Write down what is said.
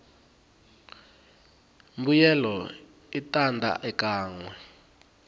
mbuyelo i tanda ekanwe